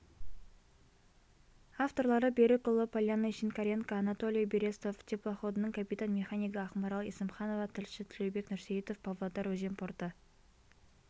авторлары берікұлы полянный шинкаренко анатолий берестов теплоходының капитан-механигі ақмарал есімханова тілші тілеубек нұрсейітов павлодар өзен порты